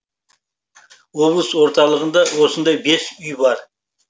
облыс орталығында осындай бес үй бар